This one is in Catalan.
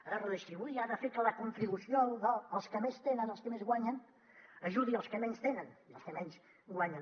ha de redistribuir i ha de fer que la contribució dels que més tenen els que més guanyen ajudi els que menys tenen i els que menys guanyen